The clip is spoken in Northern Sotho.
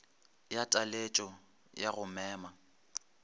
ya taletšo ya go mema